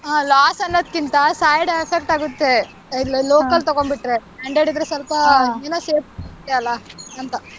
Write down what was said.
ಹಾ loss ಅನ್ನೋದ್ಕಿಂತ side effect ಆಗುತ್ತೆ local ತಗೊಂಡ್ಬಿಟ್ರೆ branded ಇದ್ರೆ ಏನೋ safety ಅಲ್ಲಾ ಅಂತ.